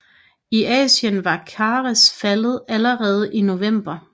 I Asien var Kars faldet allerede i november